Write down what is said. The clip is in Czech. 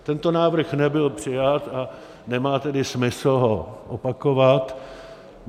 Tento návrh nebyl přijat, a nemá tedy smysl ho opakovat.